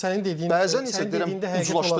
Sadəcə olaraq sənin dediyin, sənin dediyində həqiqət var.